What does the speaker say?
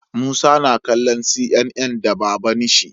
Musa na kallo CNN da baban shi